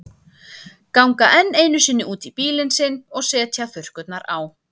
Ganga enn einu sinni út í bílinn sinn og setja þurrkurnar á.